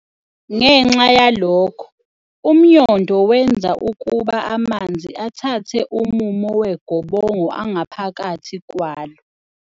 Ngenxa yalokho, UmNyondo wenza ukuba amanzi athathe umumo wegobongo angaphakathi kwalo.